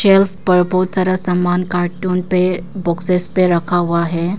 Sales पर बहुत सारा सामान कार्टून पे बॉक्सेस पे रखा हुआ है।